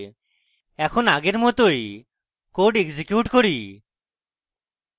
এখন আগের মতই code execute করি